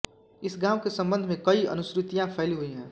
इस गांव के संबंध में कई अनुश्रुतियां फैली हुई हैं